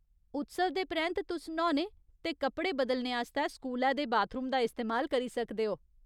उत्सव दे परैंत्त, तुस न्हौने ते कपड़े बदलने आस्तै स्कूलै दे बाथरूम दा इस्तेमाल करी सकदे ओ।